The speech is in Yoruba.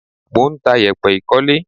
Mò ń ta yèpẹ̀ ìkólé.